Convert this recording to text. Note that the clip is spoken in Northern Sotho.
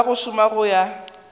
ka go šoma go ya